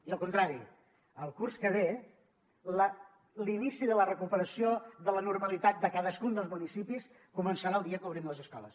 i al contrari el curs que ve l’inici de la recuperació de la normalitat de cadascun dels municipis començarà el dia que obrim les escoles